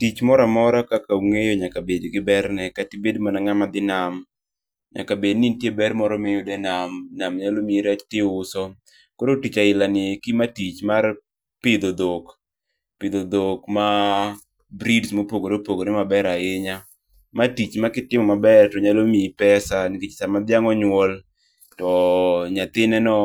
Tich moramora kaka ung'eyo nyaka bed gi berne kata ibed mana ng'ama dhi nam. Nyaka bed ni nitie ber moro miyudo e nam. Nam nyalo mi rech tiuso. Koro tich ailani eki, ma tich mar pidho dhok. Pidho dhok ma breeds mopogore opogore maber ahinya. Ma tich ma kitimo maber to nyalo miyi pesa nikech sama dhiang' onyuol to nyathineno